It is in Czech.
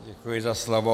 Děkuji za slovo.